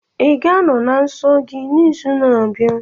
Ị ga-anọ na nsọ gị n'izu na-abịa?